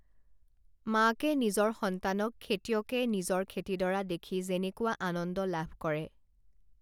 মাকে নিজৰ সন্তানক খেতিয়কে নিজৰ খেতিডৰা দেখি যেনেকুৱা আনন্দ লাভ কৰে